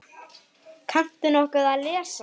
Kanntu nokkuð að lesa?